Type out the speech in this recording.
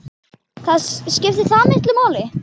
Það skiptir miklu máli.